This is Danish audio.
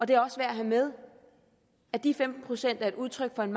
det er også værd at have med at de femten procent er et udtryk for en